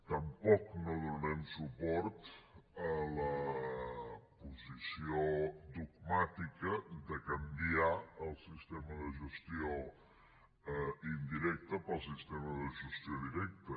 tampoc no donarem suport a la posició dogmàtica de canviar el sistema de gestió indirecta pel sistema de gestió directa